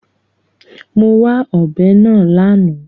Mo wá ọ̀bẹ náà lánàá.